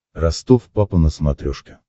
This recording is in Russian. ростов папа на смотрешке